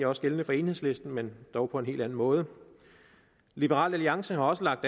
også gældende for enhedslisten men dog på en helt anden måde liberal alliance har også lagt